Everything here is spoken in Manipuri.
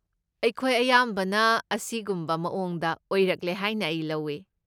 ꯑꯩꯈꯣꯏ ꯑꯌꯥꯝꯕꯅ ꯑꯁꯤꯒꯨꯝꯕ ꯃꯑꯣꯡꯗ ꯑꯣꯏꯔꯛꯂꯦ ꯍꯥꯏꯅ ꯑꯩ ꯂꯧꯏ꯫